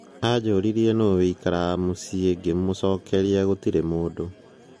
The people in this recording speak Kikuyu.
"ajũrirwe nũũ aikaraga muciĩ, ngĩmucokeria, gutĩre mundu.'